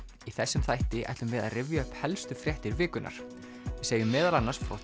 í þessum þætti ætlum við að rifja upp helstu fréttir vikunnar við segjum meðal annars